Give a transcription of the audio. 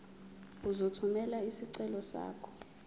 uzothumela isicelo sakho